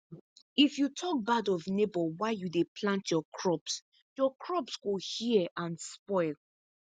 if you talk bad of neighbour while you dey plant your crops your crops go hear and spoil